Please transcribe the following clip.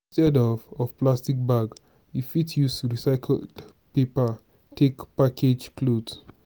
instead of of plastic bag we fit use recycled paper take package cloth